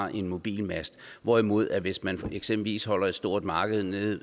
er en mobilmast hvorimod at hvis man eksempelvis holder et stort marked nede